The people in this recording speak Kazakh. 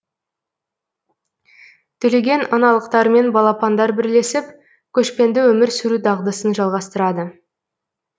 түлеген аналықтармен балапандар бірлесіп көшпенді өмір сүру дағдысын жалғастырады